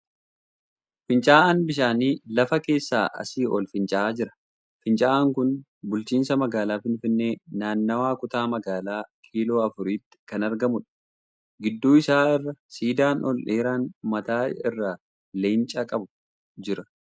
Fincaa'aan bishaanii lafa keessaa asii ol fincaa'aa jira. Fincaa'aan kun bulchiinsa magaalaa Finfinnee naannawaa kutaa magaalaa kiiloo afuriitti kan argamuudha. Gidduu isaa irra siidaan ol dheeraan mataa irraa leenca qabu jira.